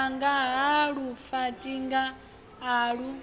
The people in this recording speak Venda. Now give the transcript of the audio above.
wanga ha lufaṱinga a lu